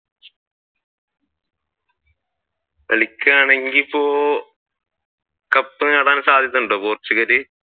കളിക്കുകയാണെങ്കിൽ ഇപ്പോ കപ്പ് നേടാൻ സാധ്യത ഉണ്ടോ പോർച്ചുഗൽ?